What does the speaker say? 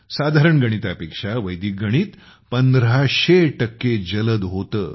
साधारण गणितापेक्षा वैदिक गणित १५०० टक्के जलद होते